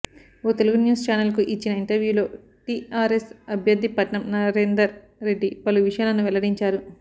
ఓ Telugu news ఛానెల్కు ఇచ్చిన ఇంటర్వ్యూలో టీఆర్ఎస్ అభ్యర్థి పట్నం నరేందర్ రెడ్డి పలు విషయాలను వెల్లడించారు